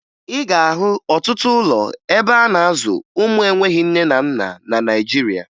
Ị ga-ahụ ọtụtụ ụlọ ebe a na-azụ ụmụ enweghi nne na nna na Naịjirịa